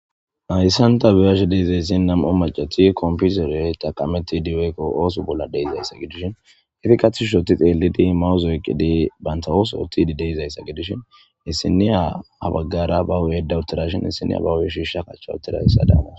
Hayssan ta biyash deizayssin nam'o macoti komputere taqameti diweekko oosu bolla deizayssa gidishin ifi katishushoti xeellidi mawo zoyqidi bantawooso uttidi deizayssa gidishin issiniya habaggara ba huyeda uttirashin issiniya bahuye shiisha kachcha uttirayssa daamas